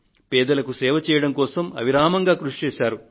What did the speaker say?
పేదలకు సేవ చేయడం కోసం అవిరామంగా కృషి చేశారు